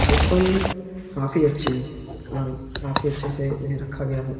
ये फल काफी अच्छे हैं और काफी अच्छे से इन्हें रखा गया है।